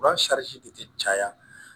tɛ caya